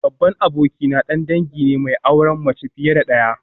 Babban abokina dan dangi ne mai auren mace fiye da daya